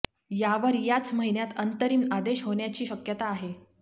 यावर याच महिन्यात अंतरिम आदेश होण्याची शक्यता आहे